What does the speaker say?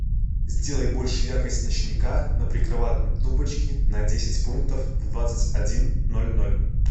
сделай больше яркость ночника на прикроватной тумбочке на десять пунктов в двадцать один ноль ноль